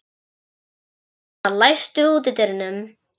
Húna, læstu útidyrunum.